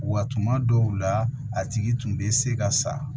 Wa tuma dɔw la a tigi tun bɛ se ka sa